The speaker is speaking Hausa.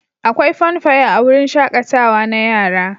Akwai funfair a wurin shaƙatawa na yara.